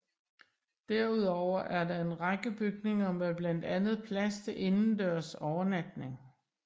Derudover er der en række bygninger med blandt andet plads til indendørs overnatning